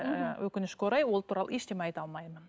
ыыы өкінішке орай ол туралы ештеңе айта алмаймын